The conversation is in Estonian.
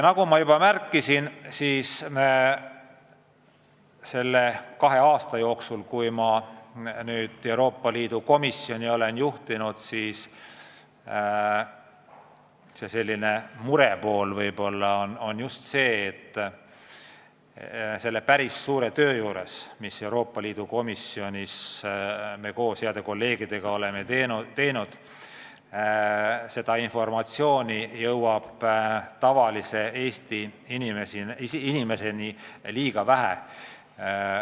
Nagu ma juba märkisin, selle kahe aasta jooksul, mil ma Euroopa Liidu komisjoni olen juhtinud, on mure olnud just see, et me oleme Euroopa Liidu komisjonis ära teinud päris suure töö, aga seda informatsiooni jõuab tavalise Eesti inimeseni liiga vähe.